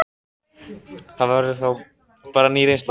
Það verður þá bara ný reynsla.